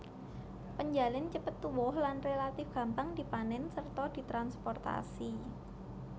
Penjalin cepet tuwuh lan relatif gampang dipanèn sarta ditransprotasi